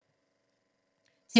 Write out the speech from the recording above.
TV 2